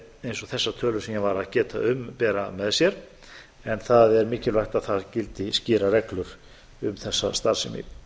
eins og þessar tölur sem ég var að geta um bera með sér en það er mikilvægt að það gildi skýrar reglur um þessa starfsemi